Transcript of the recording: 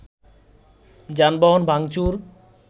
যানবাহন ভাঙচুর